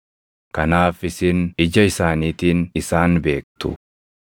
Kanaaf isin ija isaaniitiin isaan beektu.